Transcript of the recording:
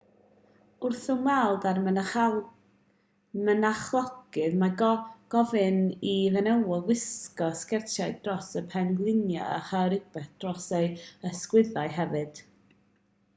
wrth ymweld â'r mynachlogydd mae gofyn i fenywod wisgo sgertiau dros y pengliniau a chael rhywbeth dros eu hysgwyddau hefyd